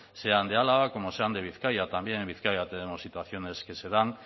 sean de álava como sean de vizcaya también en vizcaya tenemos situaciones que se dan